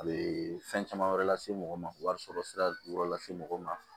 A bɛ fɛn caman wɛrɛ lase mɔgɔ ma wari sɔrɔ sira wɛrɛ lase mɔgɔ ma